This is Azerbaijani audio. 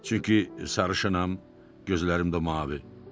Çünki sarışınam, gözlərim də mavi.